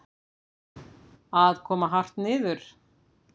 Að koma hart niður